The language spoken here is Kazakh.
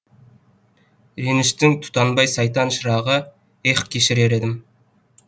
реніштің тұтанбай сайтан шырағы ех кешірер едім